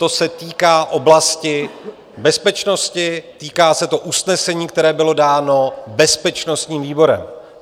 To se týká oblasti bezpečnosti, týká se to usnesení, které bylo dáno bezpečnostním výborem.